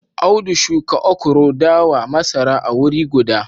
Audu shuka okro, dawa, masara a wuri guda